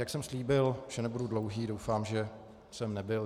Jak jsem slíbil, že nebudu dlouhý, doufám, že jsem nebyl.